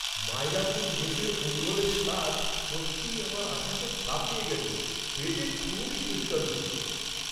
মাইলাপুর মেসের পোঙ্গলের স্বাদ সত্যিই আমার আশাকে ছাপিয়ে গেছে! খেতে খুবই সুস্বাদু ছিল।